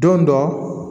Don dɔ